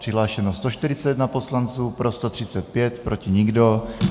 Přihlášeno je 141 poslanců, pro 135, proti nikdo.